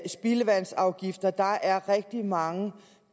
spildevandsafgifter der er rigtig mange